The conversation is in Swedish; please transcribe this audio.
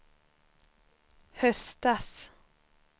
höstas